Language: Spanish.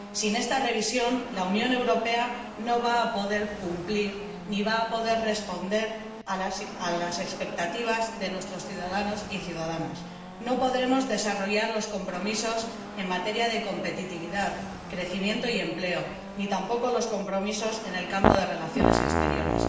Sin esta revisión, la Unión Europea no va a poder cumplir ni va a poder responder a las expectativas de nuestros ciudadanos y ciudadanas, no podremos desarrollar los compromisos en materia de competitividad, crecimiento y empleo, ni tampoco los compromisos en el campo de las relaciones exteriores.